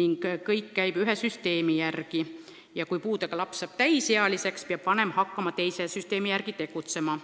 ning kõik käib ühe süsteemi järgi, kui aga puudega laps saab täisealiseks, peab tema vanem hakkama teise süsteemi järgi tegutsema.